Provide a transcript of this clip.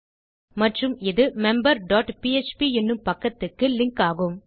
மற்றும் இது member dot PHP என்னும் பக்கத்துக்கு லிங்க் ஆகும்